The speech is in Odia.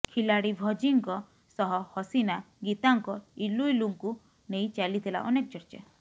ଖିଲାଡି ଭଜିଙ୍କ ସହ ହସିନା ଗୀତାଙ୍କ ଇଲୁ ଇଲୁଙ୍କୁ ନେଇ ଚାଲିଥିଲା ଅନେକ ଚର୍ଚ୍ଚା